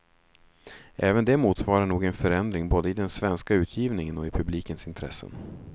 Även det motsvarar nog en förändring både i den svenska utgivningen och i publikens intressen.